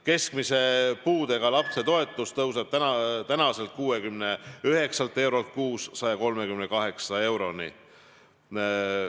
Keskmise puudega lapse toetus tõuseb 69 eurost 138 euroni kuus.